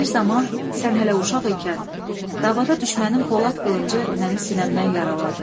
Bir zaman sən hələ uşaq ikən davada düşmənin polad qılıncı məni sinəmdən yaraladı.